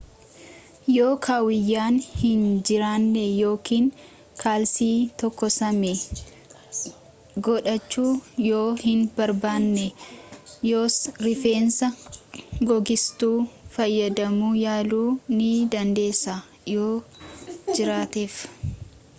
yoo kaawuyyaan hin jiraanne yookiin kaalsii tokkosame godhachuu yoo hin barbaanne yos riifeensa googsituu fayyadamuu yaaluu ni dandeessa yoo jiraateef